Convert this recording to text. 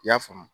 I y'a faamu